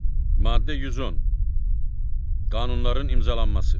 Maddə 110. Qanunların imzalanması.